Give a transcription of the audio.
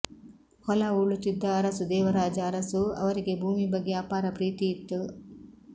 ಹೊಲ ಉಳುತ್ತಿದ್ದ ಅರಸು ದೇವರಾಜ ಅರಸು ಅವರಿಗೆ ಭೂಮಿ ಬಗ್ಗೆ ಅಪಾರ ಪ್ರೀತಿ ಇತ್ತು